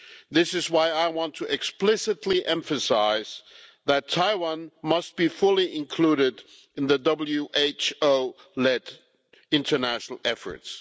This is why I want to explicitly emphasise that Taiwan must be fully included in the WHO-led international efforts.